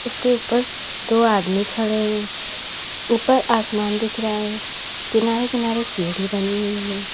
इसके ऊपर दो आदमी खड़े हैं ऊपर आसमान दिख रहा है किनारे किनारे सीढ़ी बनी हुई है।